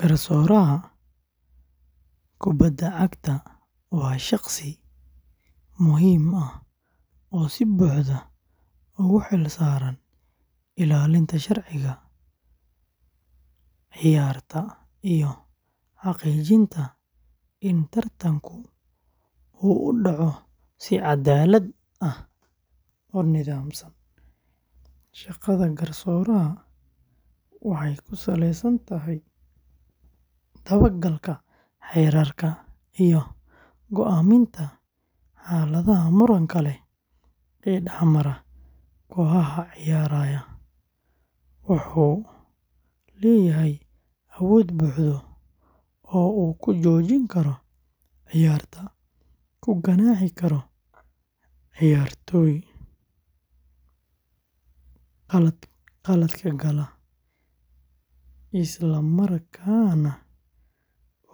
Garsooraha kubadda cagta waa shaqsi muhiim ah oo si buuxda ugu xil-saaran ilaalinta sharciga ciyaarta iyo xaqiijinta in tartanku u dhaco si cadaalad ah oo nidaamsan. Shaqada garsooraha waxay ku saleysan tahay daba-galka xeerarka iyo go’aaminta xaaladaha muranka leh ee dhex mara kooxaha ciyaaraya. Wuxuu leeyahay awood buuxda oo uu ku joojin karo ciyaarta, ku ganaaxi karo ciyaartoyda khaladka gala, isla markaana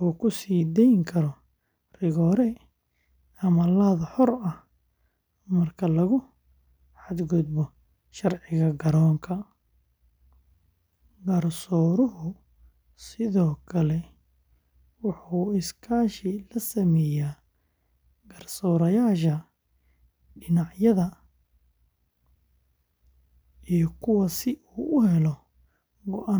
uu ku siideyn karo rigoore ama laad xor ah marka lagu xadgudbo sharciga garoonka. Garsooruhu sidoo kale wuxuu iskaashi la sameeyaa garsoorayaasha dhinacyada iyo kuwa si uu u helo go’aan sax ah.